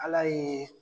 Ala ye